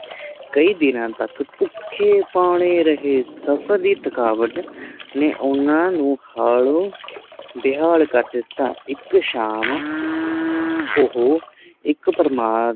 ਕਈ ਦਿਨਾਂ ਤੱਕ ਭੁੱਖੇ ਭਾਣੇ ਰਹੇ ਸਫਰ ਦੀ ਥਕਾਵਟ ਨੇ ਓਹਨਾ ਨੂੰ ਹਾਲੋ ਬੇਹਾਲ ਕਰ ਦਿੱਤਾ ਇਕ ਸ਼ਾਮ ਉਹ ਇਕ ਭਰਮਾਰ